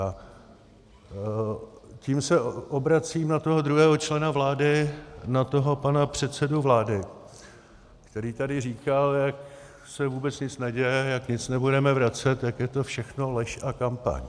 A tím se obracím na toho druhého člena vlády, na toho pana předsedu vlády, který tady říkal, jak se vůbec nic neděje, jak nic nebudeme vracet, jak je to všechno lež a kampaň.